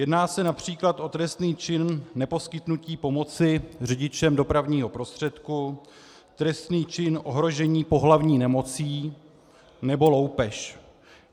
Jedná se například o trestný čin neposkytnutí pomoci řidičem dopravního prostředku, trestný čin ohrožení pohlavní nemocí nebo loupež.